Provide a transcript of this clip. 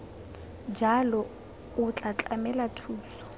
jalo o tla tlamela thuso